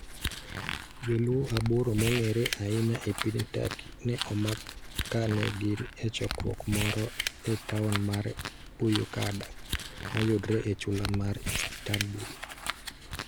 Joluo aboro mong'ere ahinya e piny Turkey ne omak kane gin e chokruok moro e taon mar Buyukada, mayudore e chula mar Istanbul.